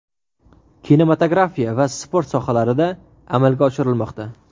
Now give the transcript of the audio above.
kinematografiya va sport sohalarida amalga oshirilmoqda.